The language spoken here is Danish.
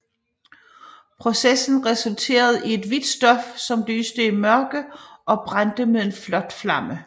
Processen resulterede i et hvidt stof som lyste i mørke og brændte med en flot flamme